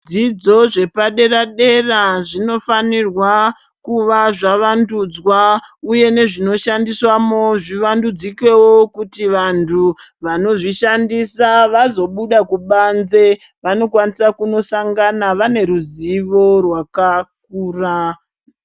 Zvidzidzo zvepadera-dera zvinofanirwa kuva zvavandudzwa ,uye nezvinoshandiswamo zvivandudzikewo, kuti vantu vanozvishandisa vazobuda kubanze, vanokwanisa kunosangana vane ruzivo rwakakura.